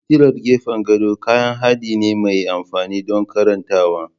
Fitilar gefen gado kayan haɗi ne mai amfani don karantawa.